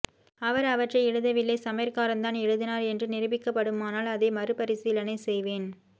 அவர் அவற்றை எழுதவில்லை சமையற்காரன் தான் எழுதினார் என்று நிரூபிக்கப் படுமானால் அதை மறுபரிசீலனை செய்வேன்